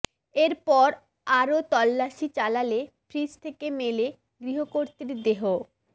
এর পর আরও তল্লাসি চালালে ফ্রিজ থেকে মেলে গৃহকর্ত্রীর দেহ